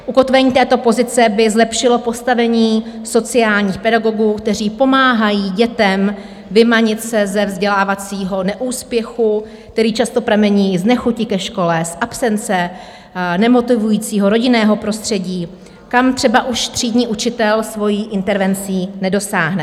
Ukotvení této pozice by zlepšilo postavení sociálních pedagogů, kteří pomáhají dětem vymanit se ze vzdělávacího neúspěchu, který často pramení z nechuti ke škole, z absence, nemotivujícího rodinného prostředí, kam třeba už třídní učitel svojí intervencí nedosáhne.